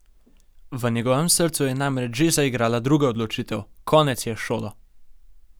V njegovem srcu je namreč že zaigrala druga odločitev: 'Konec je s šolo.